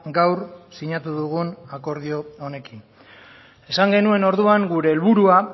gaur sinatu dugun akordio honekin esan genuen orduan gure helburua